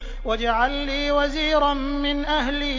وَاجْعَل لِّي وَزِيرًا مِّنْ أَهْلِي